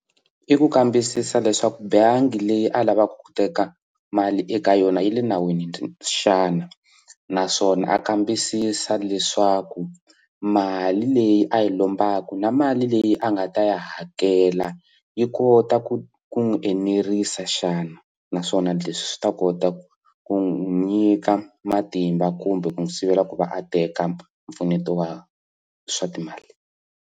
I ku kambisisa leswaku bangi leyi a lavaka ku teka mali eka yona yi le nawini xana naswona a kambisisa leswaku mali leyi a yi lombaka na mali leyi a nga ta yi hakela yi kota ku ku n'wi enerisa xana naswona leswi swi ta kota ku ku nyika matimba kumbe ku sivela ku va a teka mpfuneto wa swa timali.